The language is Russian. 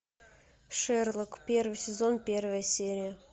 шерлок первый сезон первая серия